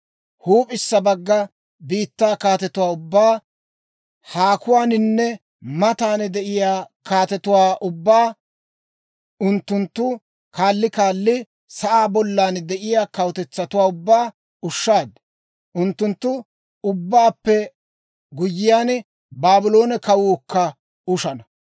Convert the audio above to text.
Huup'issa bagga biittaa kaatetuwaa ubbaa, haakuwaaninne matan de'iyaa kaatetuwaa ubbaa unttunttu kaali kaali, sa'aa bollan de'iyaa kawutetsatuwaa ubbaa ushshaad. Unttunttu ubbaappe guyyiyaan, Baabloone kawuukka ushana.